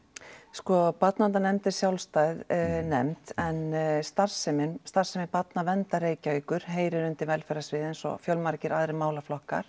sko Barnaverndarnefnd er sjálfstæð nefnd en starfsemi starfsemi Barnaverndar Reykjavíkur heyrir undir velferðarsvið eins og fjölmargir aðrir málaflokkar